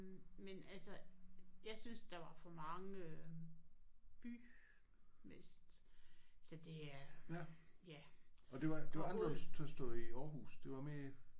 Men altså jeg synes der var for mange øh bymæssigt så det er ja Aarhus